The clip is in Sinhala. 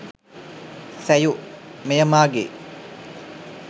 සැයු – මෙය මාගේ